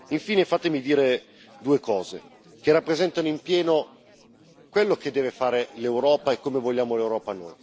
Infine, fatemi dire due cose, che rappresentano pienamente quello che deve fare l'Europa e come noi vogliamo l'Europa.